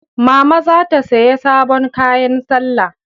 Mama za ta siyai sabon kayan salla